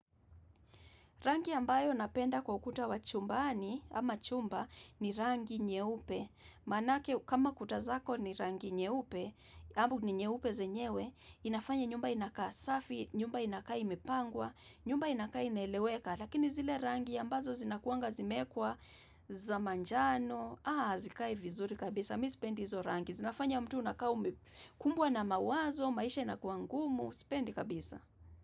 Rangi ambayo napenda kwa ukuta wachumbani ama chumba ni rangi nyeupe. Manake kama kutazako ni rangi nyeupe, ambu ni nyeupe zenyewe, inafanya nyumba inakaa safi, nyumba inakaa imepangwa, nyumba inakaa inaeleweka. Lakini zile rangi ambazo zinakuanga zimekwa za manjano, hazikai vizuri kabisa, mimi sipendi hizo rangi. Zinafanya mtu unakaa kumbwa na mawazo, maisha inakuangumu, sipendi kabisa.